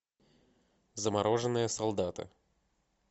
замороженные солдаты